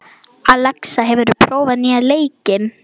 Alexa, hefur þú prófað nýja leikinn?